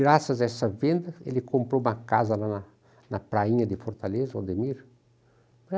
Graças a essa venda, ele comprou uma casa lá na na prainha de Fortaleza, o Ademir.